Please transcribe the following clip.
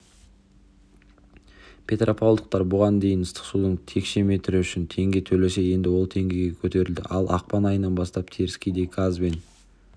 петропавлдықтар бұған дейін ыстық судың текше метрі үшін теңге төлесе енді ол теңгеге көтерілді ал ақпан айынан бастап теріскейде газ бен